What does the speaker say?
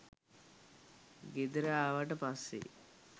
ගෙදර ආවට පස්සේ